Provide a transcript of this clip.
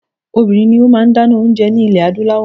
Obìnrin ni ó máa ń dáná oúnje ní ilẹ̀ Adúláwọ̀.